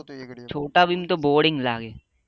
boring લાગે